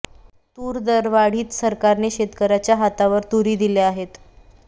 तूर दरवाढीत सरकारने शेतकर्यांच्या हातावर तुरी दिल्या आहेत